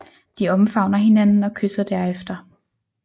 De omfavner hinanden og kysser derefter